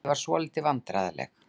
Ég varð svolítið vandræðaleg.